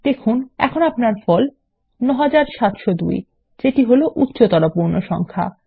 দেখুন এখন আপনার ফল এখন ৯৭০২ যেত হল উচ্চতর পূর্ণ সংখ্যা